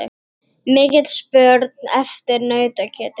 Mikil spurn eftir nautakjöti